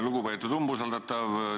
Lugupeetud umbusaldatav!